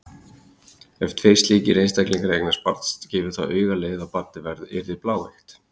Ef tveir slíkir einstaklingar eignast saman barn gefur það auga leið að barnið yrði bláeygt.